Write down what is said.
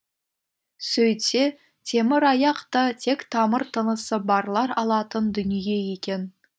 сөйтсе темір аяқ та тек тамыр тынысы барлар алатын дүние екен